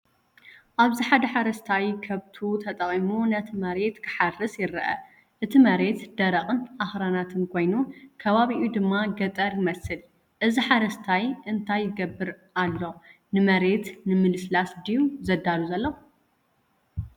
ኣብዚ ሓደ ሓረስታይ ከብቱ ተጠቒሙ ነቲ መሬት ክሓርስ ይርአ። እቲ መሬት ደረቕን ኣኽራናትን ኮይኑ፡ ከባቢኡ ድማ ገጠር ይመስል። እዚ ሓረስታይ እንታይ ይገብር ኣሎ? ንመሬት ንምልስላስ ድዩ ዘዳሉ ዘሎ?